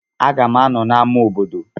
M ga-anọ na ama obodo.